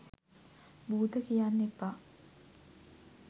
බූත කියන්න එපා.